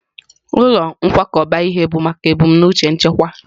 Ụlọ nkwakọba ihe bụ maka ebumnuche nchekwa.